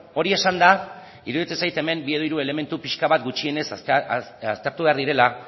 hori esanda iruditzen zait hemen bi edo hiru elementu pixka bat gutxienez aztertu behar direla